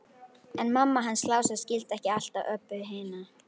En mamma hans Lása skildi ekki alltaf Öbbu hina.